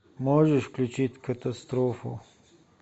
можешь включить катастрофу